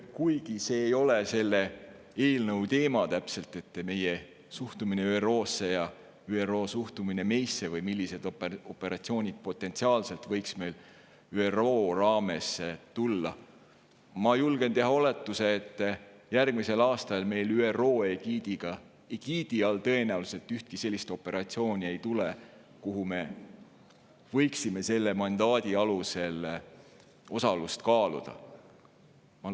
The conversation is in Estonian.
Kuigi see ei ole otseselt selle eelnõu teema – meie suhtumine ÜRO-sse ja ÜRO suhtumine meisse või millised operatsioonid potentsiaalselt võiks meil ÜRO raames tulla –, ma julgen teha oletuse, et järgmisel aastal meil ÜRO egiidi all tõenäoliselt ei tule ühtegi sellist operatsiooni, milles osalemist me võiksime selle mandaadi alusel kaaluda.